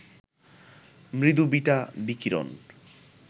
মৃদু বিটা বিকিরণ